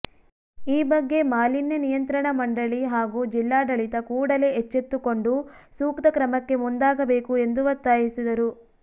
ಈ ಬಗ್ಗೆ ಮಾಲಿನ್ಯ ನಿಯಂತ್ರಣ ಮಂಡಳಿ ಹಾಗೂ ಜಿಲ್ಲಾಡಳಿತ ಕೂಡಲೇ ಎಚ್ಚೆತ್ತು ಕೊಂಡು ಸೂಕ್ತ ಕ್ರಮಕ್ಕೆ ಮುಂದಾಗಬೇಕು ಎಂದು ಒತ್ತಾಯಿಸಿದರು